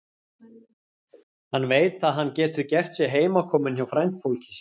Hann veit að hann getur gert sig heimakominn hjá frændfólki sínu.